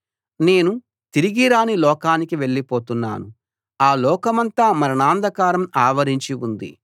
నేను తిరిగిరాని లోకానికి వెళ్ళిపోతున్నాను ఆ లోకమంతా మరణాంధకారం ఆవరించి ఉంది